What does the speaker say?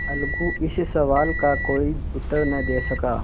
अलगू इस सवाल का कोई उत्तर न दे सका